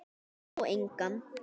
Sá engan.